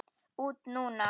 Út núna?